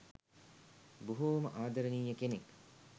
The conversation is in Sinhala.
බොහෝම ආදරණීය කෙනෙක්.